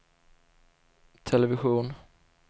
television